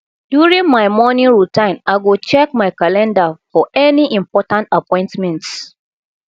during my morning routine i go check my calendar for any important appointments